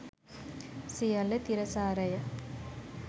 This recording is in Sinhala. සියල්ල තිරසාරය.